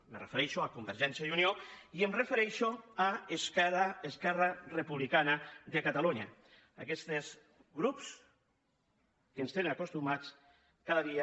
me refereixo a convergència i unió i em refereixo a esquerra republicana de catalunya aquests grups que ens tenen acostumats cada dia